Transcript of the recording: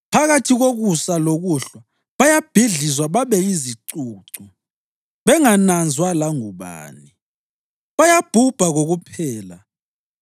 Phakathi kokusa lokuhlwa bayabhidlizwa babe yizicucu; bengananzwa langubani, bayabhubha kokuphela.